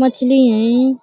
मछली हयें